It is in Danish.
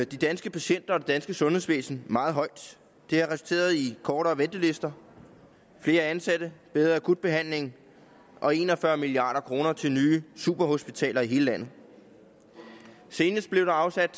de danske patienter og det danske sundhedsvæsen meget højt det har resulteret i kortere ventelister flere ansatte bedre akutbehandling og en og fyrre milliard kroner til nye superhospitaler i hele landet senest blev der afsat